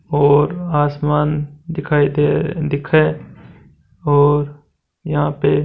और आसमान दिखाई दे दिख है और यह पे --